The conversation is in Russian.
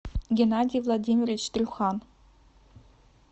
геннадий владимирович трюхан